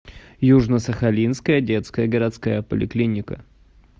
южно сахалинская детская городская поликлиника